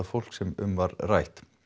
fólk sem um var rætt